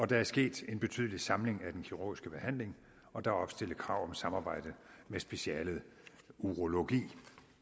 der er sket en betydelig samling af den kirurgiske behandling og der er opstillet krav om samarbejde med specialet urologi